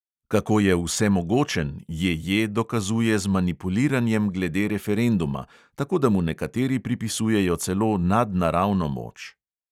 Kako je vsemogočen, J J dokazuje z manipuliranjem glede referenduma, tako da mu nekateri pripisujejo celo nadnaravno moč.